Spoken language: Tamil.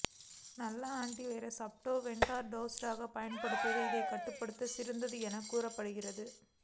நல்ல ஆன் ட்டி வைரஸ் அப்டேட் வெர்சனாக லேட்டஸ்டாக பயன்படுத்துவதே இதை கட்டுப்படுத்த சிறந்தது என கூறப்படுகிறது